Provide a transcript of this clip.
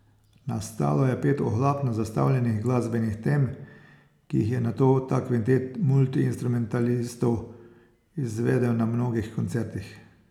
Nastalo je pet ohlapno zastavljenih glasbenih tem, ki jih je nato ta kvintet multiinstrumentalistov izvedel na mnogih koncertih.